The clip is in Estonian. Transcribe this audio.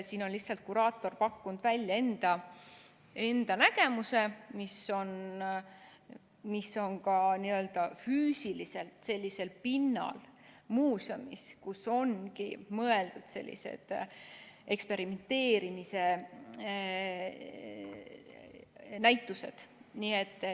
Siin on lihtsalt kuraator pakkunud välja enda nägemuse, mis on ka n‑ö füüsiliselt sellisel pinnal muuseumis, kuhu ongi mõeldud sellised eksperimenteerimise näitused.